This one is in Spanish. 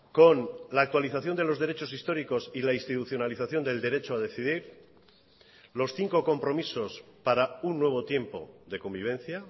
con la actualización de los derechos históricos y la institucionalización del derecho a decidir los cinco compromisos para un nuevo tiempo de convivencia